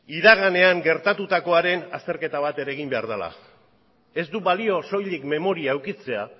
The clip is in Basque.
iraganean gertatutakoaren azterketa bat ere egin behar dela ez du balio soilik memoria edukitzea